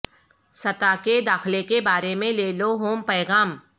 سطح کے داخلے کے بارے میں لے لو ہوم پیغام